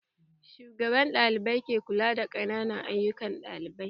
Shugaban ɗalibai ke kula da ayukan ƙananan ɗalibai